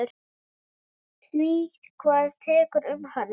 Því kvað Teitur um hana